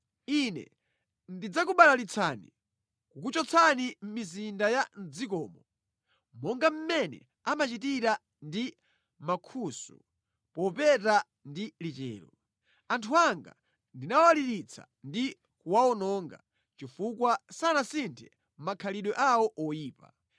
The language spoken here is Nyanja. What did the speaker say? Ine ndidzakubalalitsani kukuchotsani mʼmizinda ya mʼdzikomo monga mmene amachitira ndi mankhusu popeta ndi lichero. Anthu anga ndinawaliritsa ndi kuwawononga chifukwa sanasinthe makhalidwe awo oyipa.